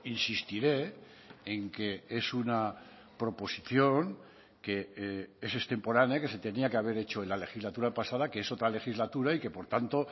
insistiré en que es una proposición que es extemporánea que se tenía que haber hecho en la legislatura pasada que es otra legislatura y que por tanto